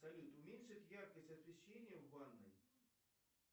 салют уменьшить яркость освещения в ванной